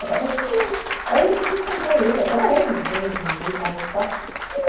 Aí eu depois encontrei ele, até hoje, meio mal-estar.